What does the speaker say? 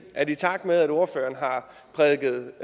at i takt med at ordføreren har prædiket